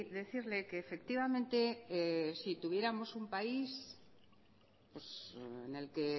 decirle que efectivamente si tuviéramos un país en el que